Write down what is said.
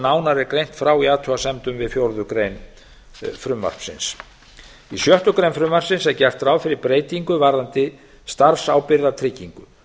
er greint frá í athugasemdum við fjórðu grein frumvarpsins í sjöttu greinar frumvarpsins er gert ráð fyrir breytingu varðandi starfsábyrgðartryggingu